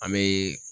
An bɛ